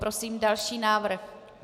Prosím další návrh.